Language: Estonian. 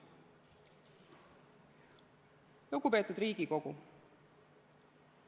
Lugupeetud Riigikogu!